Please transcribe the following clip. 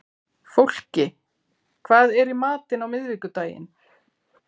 Fólki, hvað er í matinn á miðvikudaginn?